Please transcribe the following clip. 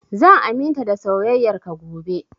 Zan aminta da soyayar ka gobe